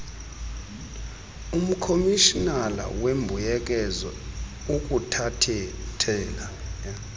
umkomishinala weembuyekezo ukuthathela